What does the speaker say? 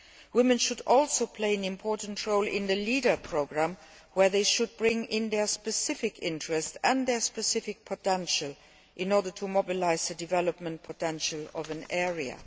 Women should also play an important role in the LEADER Programme, where they should bring in their specific interests and their specific potential in order to mobilise the development potential of an area.